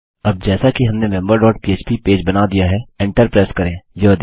अब जैसा कि हमने मेंबर डॉट पह्प बनाया दिया है एंटर प्रेस करें